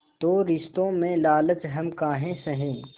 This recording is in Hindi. तो रिश्तों में लालच हम काहे सहे